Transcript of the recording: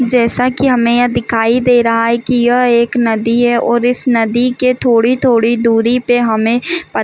जैसा कि हमें यह दिखाई दे रहा है कि यह एक नदी है और इस नदी के थोड़ी-थोड़ी दूरी पे हमें पत --